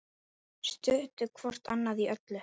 Studdu hvort annað í öllu.